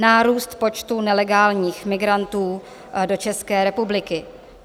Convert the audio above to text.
Nárůst počtu nelegálních migrantů do České republiky.